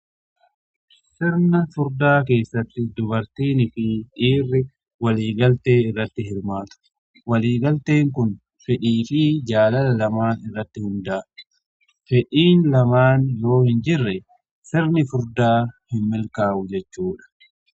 Sirni furdaa keessatti dubartiini fi dhiirri waliigaltee irratti hirmaatu. Waliigalteen kun fedhii fi jaalala lamaan irratti hundaa'a. Fedhii lamaan yoo hin jirre sirni furdaa hin milkaa'u jechuudha